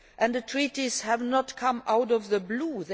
The Treaties have not come out of the blue.